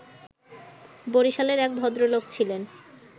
বরিশালের এক ভদ্রলোক ছিলেন